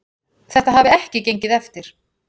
Þetta hafi ekki gengið eftir.